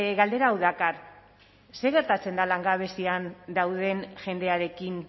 galdera hau dakar zer gertatzen da langabezian dauden jendearekin